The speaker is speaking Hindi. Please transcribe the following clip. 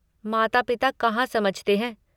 माता पिता कहाँ समझते हैं।